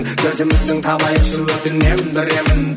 дертіміздің табайықшы өтінемін бір емін